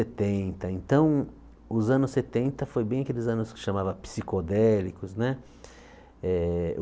então os anos setenta foi bem aqueles anos que chamava psicodélicos, né? Eh